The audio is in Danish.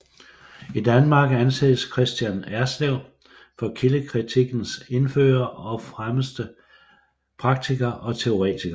I Danmark anses Kristian Erslev for kildekritikkens indfører og fremmeste praktiker og teoretiker